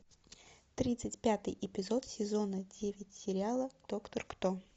тридцать пятый эпизод сезона девять сериала доктор кто